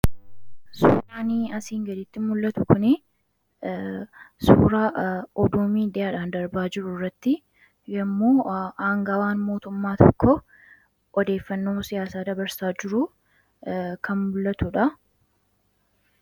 Suuraani asiin gaditti mul'atu kunii suuraa oduu miidiyaadhaan darbaa jiru irratti yommuun aangawaan mootummaa tokkoo odeeffannoo siyaasaa dabarsaa jiruu kan mul'atuudha.